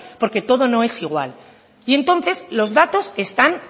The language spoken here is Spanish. porque todo no es igual y entonces los datos están